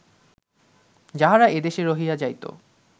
যাহারা এদেশে রহিয়া যাইত